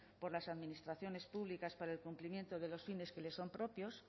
por las administraciones públicas para el cumplimiento de los fines que le son propios